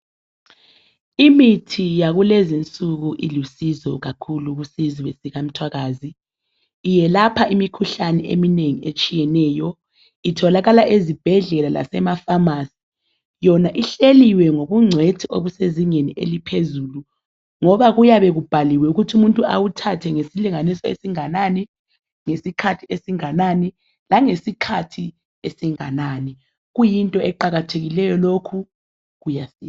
Imithi yakulezo insuku ilusizo kakhulu kusizwe sikamtwakazi iyelapha imikhuhlane eminengi eyehlukeneyo itholakala ezibhedlela lasemafamasi yona ihleliwe ngobucwethu bezinga eliphezulu ngoba kuyabe kubhaliwe ukuthi umuntu ewuthathe ngesikhathi esinganani, ngesilinganiso esinganani kuyinto eqakathekileyo lokho kuyasiza